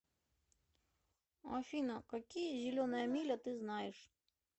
афина какие зеленая миля ты знаешь